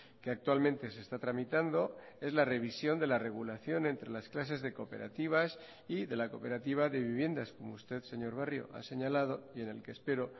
que actualmente se está tramitando es la revisión de la regulación entre las clases de cooperativas y de la cooperativa de viviendas como usted señor barrio ha señalado y en el que espero